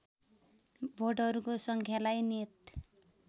भोटहरूको सङ्ख्यालाई नियत